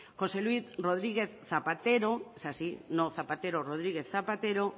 josé luis rodríguez zapatero